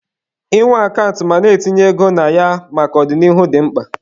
Ị nwe akant ma na-etinye ego na ya maka ọ dị n'ihu dị mkpa